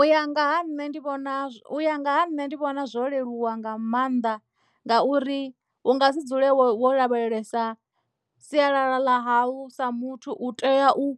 U ya nga ha nṋe ndi vhona u ya nga ha nṋe ndi vhona zwo leluwa nga maanḓa ngauri hu nga si dzule wo lavhelesa sialala ḽahau sa muthu u tea u